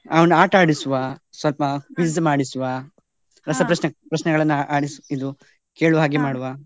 ಹಾ ಆಟ ಆಡಿಸುವ ಸ್ವಲ್ಪ ಮಾಡಿಸುವ, ರಸಪ್ರಶ್ನೆಗಳನ್ನು ಪ್ರಶ್ನೆಗಳನ್ನ ಆಡಿಸು ಇದು ಕೇಳುವಾಗೆ ಮಾಡುವ.